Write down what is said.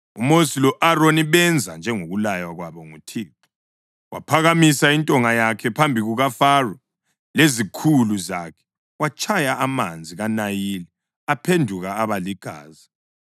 UMosi lo-Aroni benza njengokulaywa kwabo nguThixo. Waphakamisa intonga yakhe phambi kukaFaro lezikhulu zakhe watshaya amanzi kaNayili aphenduka aba ligazi.